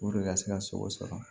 ka se ka sogo sɔrɔ